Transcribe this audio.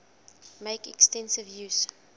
make extensive use